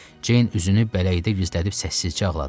Jane üzünü bələyə gizlədib səssizcə ağladı.